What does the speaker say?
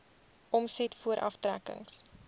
omset voor aftrekkings